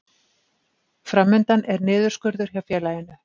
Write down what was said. Fram undan er niðurskurður hjá félaginu